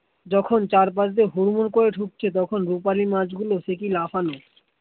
যখন চারপাশ দিয়ে হুর মুঢ় করে ঢুকছে তখন রুপালী মাছ গুলো সে কি লাফানো